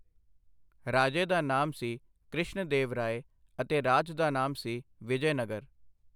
ਰਾਜੇ ਦਾ ਨਾਮ ਸੀ ਕ੍ਰਿਸ਼ਣ ਦੇਵ ਰਾਏ ਅਤੇ ਰਾਜ ਦਾ ਨਾਮ ਸੀ ਵਿਜਯਨਗਰ।